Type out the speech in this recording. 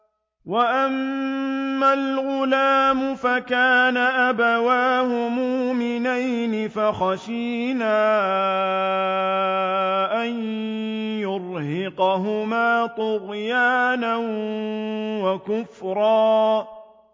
وَأَمَّا الْغُلَامُ فَكَانَ أَبَوَاهُ مُؤْمِنَيْنِ فَخَشِينَا أَن يُرْهِقَهُمَا طُغْيَانًا وَكُفْرًا